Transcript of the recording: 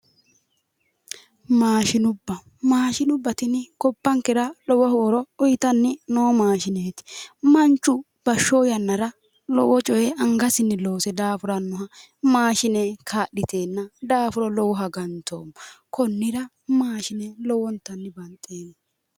Maashinubba maashinubba tini gobbankera lowo horo uyiitanni noo maashineeti manchu bashsho yannara lowo coye angasinni loose daafurannoha maashine kaa'liteenna daafuro lowoha ganto konnira maashine lowonta banxeemmo